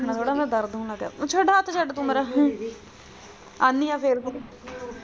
ਛੱਡਣਾ ਥੋੜ੍ਹਾ ਦਰਦ ਹੋਣ ਲੱਗ ਪਿਆ ਛੱਡ ਹੱਥ ਤੂੰ ਹੱਥ ਮੇਰਾ ਆਨੀ ਆ ਫੇਰ।